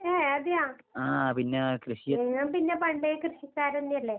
ഏഹ് അതെയോ? നിങ്ങൾ പിന്നെ പണ്ടേ കൃഷിക്കാരെനെയല്ലേ?